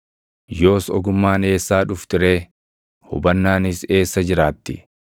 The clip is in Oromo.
Yoos ogummaan eessaa dhufti ree? Hubannaanis eessa jiraatti?